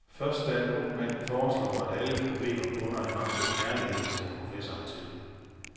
Først da en ung mand foreslår, at alle problemer bunder i mangel på kærlighed, slår professoren til.